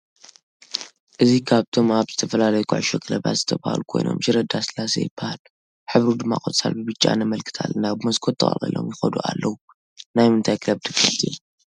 እዚ ካብቶም ኣብ ዝተፈላለዩ ከዑሾ ክለባት ዝተብሃሉ ኮይኖም ሽረ ዳ ሰላሴ ይበሃል። ሕብሩ ድማ ቆፃል ብ ብጫ ነመልከት አለና ብሞሰኮት ተቅልቂሎም ይከዱ ኣለዉ። ናይምንታይ ክለብ ደገፈቲ ኢኩም?